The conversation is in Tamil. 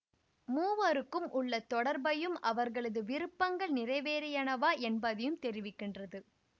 மூவருக்கும் உள்ள தொடர்பையும் அவர்களது விருப்பங்கள் நிறைவேறியனவா என்பதையும் தெரிவிக்கின்றது